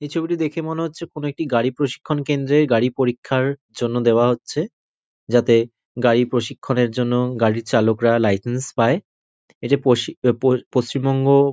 এই ছবিটি দেখে মনে হচ্ছে কোন একটি গাড়ি প্রশিক্ষণ কেন্দ্রের গাড়ি পরীক্ষার জন্য দেওইয়া হচ্ছে যাতে গাড়ি প্রশিক্ষণের জন্য গাড়ির চালকরা লাইসেন্স পায় এটা পশি-প-পশ্চিমবঙ্গ--